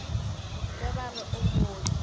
ge ba re o mooki